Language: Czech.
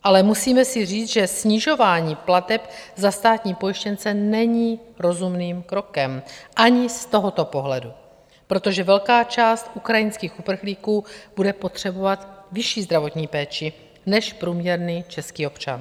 Ale musíme si říct, že snižování plateb za státní pojištěnce není rozumným krokem ani z tohoto pohledu, protože velká část ukrajinských uprchlíků bude potřebovat vyšší zdravotní péči než průměrný český občan.